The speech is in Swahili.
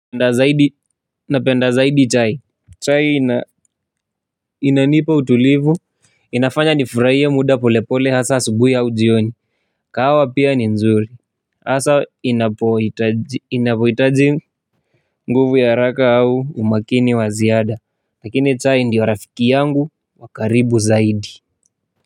Napenda zaidi chai. Chai inanipa utulivu. Inafanya nifurahie muda polepole hasa asubuhi au jioni. Kahawa pia ni nzuri. Hasa inapohitaji nguvu ya haraka au umakini wa ziada. Lakini chai ndiyo rafiki yangu wa karibu zaidi.